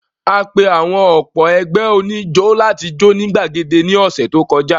A pe àwọn ọ̀pọ̀ ẹgbẹ́ oníjó láti jó ní gbàgede ní ọ̀sẹ̀ tó kọjá.